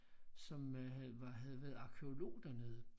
Som øh var havde været arkæolog dernede